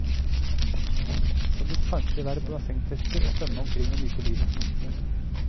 Eller kanskje være bassengtester og svømme omkring og nyte livet.